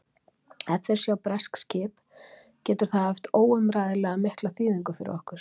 Ef þeir sjá breskt skip getur það haft óumræðilega mikla þýðingu fyrir okkur.